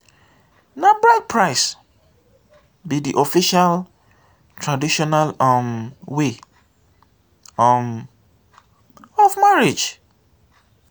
na bride price be de official traditional um way um of marriage.